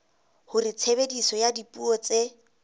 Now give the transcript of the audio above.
hore tshebediso ya dipuo tse